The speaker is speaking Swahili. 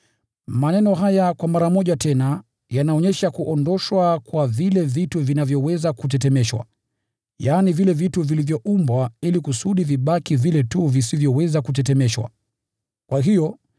Maneno haya “kwa mara moja tena” yanaonyesha kuondoshwa kwa vile vitu vinavyoweza kutetemeshwa, yaani vile vitu vilivyoumbwa, kwa kusudi vile tu visivyoweza kutetemeshwa vibaki.